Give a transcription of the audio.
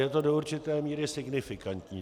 Je to do určité míry signifikantní.